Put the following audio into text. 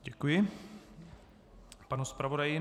Děkuji panu zpravodaji.